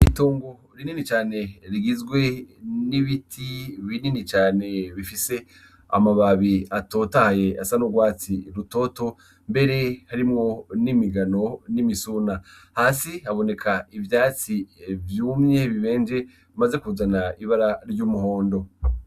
Itongo rinini cane rigizwe n’ibiti binini cane bifise amababi atotahaye asa n’urwatsi rutoto mbere harimwo n’imigano n’imisuna . Hasi haboneka ivyatsi vyumye , bimaze kuzana ibara ry’umuhondo.